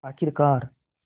आख़िरकार